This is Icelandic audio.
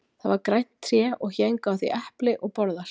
það var grænt tré og héngu á því epli og borðar